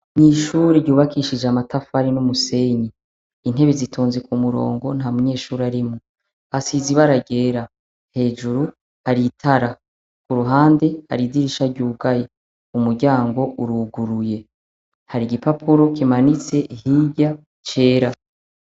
Nw'ishuri ryubakishije amatafari n'umusenyi intebe zitonze ku murongo nta munyeshuri arimwo hasize iba ararera hejuru aritara ku ruhande ariidirisha ry'ugayi umuryango uruguruye hari igipapuro kimanitse hirya cera.